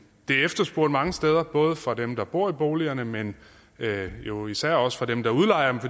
efterspurgt mange steder både fra dem der bor i boligerne men jo især også fra dem der udlejer